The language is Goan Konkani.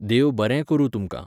देव बरें करूं तुमकां.